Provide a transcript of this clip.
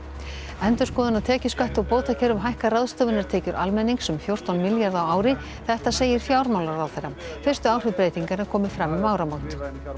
endurskoðun á tekjuskatti og bótakerfum hækkar ráðstöfunartekjur almennings um fjórtán milljarða á ári þetta segir fjármálaráðherra fyrstu áhrif breytinganna komi fram um áramót